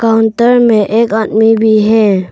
अंदर में एक आदमी भी है।